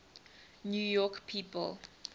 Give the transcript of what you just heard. new york people